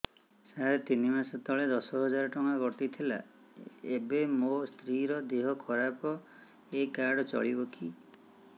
ସାର ତିନି ମାସ ତଳେ ଦଶ ହଜାର ଟଙ୍କା କଟି ଥିଲା ଏବେ ମୋ ସ୍ତ୍ରୀ ର ଦିହ ଖରାପ ଏ କାର୍ଡ ଚଳିବକି